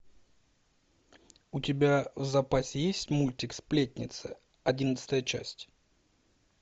у тебя в запасе есть мультик сплетница одиннадцатая часть